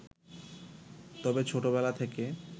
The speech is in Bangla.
তবে ছোটবেলা থেকে